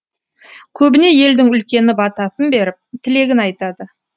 көбіне елдің үлкені батасын беріп тілегін айтады